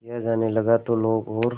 किया जाने लगा तो लोग और